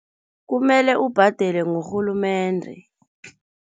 Kumele ubhadele ngurhulumende.